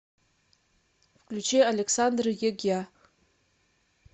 включи александр ягья